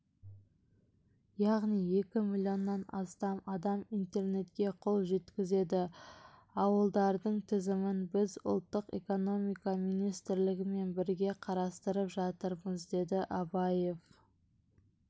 яғни екі миллионнан астам адам интернетке қол жеткізеді ауылдардың тізімін біз ұлттық экономика министрлігімен бірге қарастырып жатырмыз деді абаев